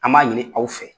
An b'a ɲini aw fɛ